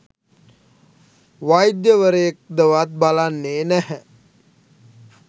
වෛද්‍යවරයෙක්දවත් බලන්නේ නැහැ.